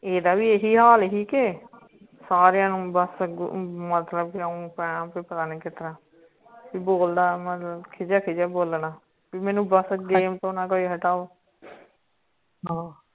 ਏਹ ਦਾ ਵੀ ਇਹੀ ਹਾਲ ਆ ਹੀ ਕੇ ਸਾਰਿਆਂ ਨੂੰ ਬਸ ਅਗੋ ਮਤਲੱਬ ਕਿ ਪਤਾ ਨੀ ਕਿਤਨਾ ਬੋਲਦਾ ਮਤਲਬ ਖਿਜਾ ਖਿਜਾ ਬੋਲਣਾ ਕਿ ਮੈਨੂੰ ਬਸ game ਤੇ ਨਾ ਕੋਈ ਹਟਾਓ